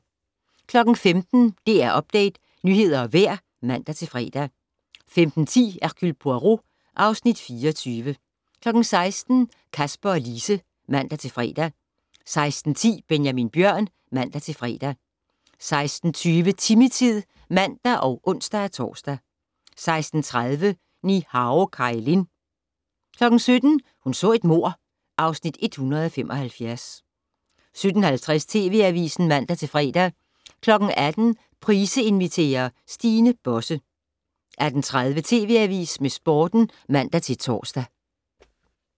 15:00: DR Update - nyheder og vejr (man-fre) 15:10: Hercule Poirot (Afs. 24) 16:00: Kasper og Lise (man-fre) 16:10: Benjamin Bjørn (man-fre) 16:20: Timmy-tid (man og ons-tor) 16:30: Ni-Hao Kai Lan 17:00: Hun så et mord (Afs. 175) 17:50: TV Avisen (man-fre) 18:00: Price inviterer - Stine Bosse 18:30: TV Avisen med Sporten (man-tor)